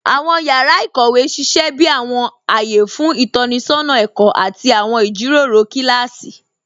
Awọn yàrá íkówe sísẹ̀ bí awọn ayé fún itọnisọna ẹ̀kọ àti awọn ijíròró kilási.